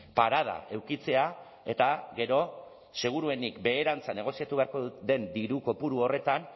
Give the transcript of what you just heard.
parada edukitzea eta gero seguruenik beherantza negoziatu beharko den diru kopuru horretan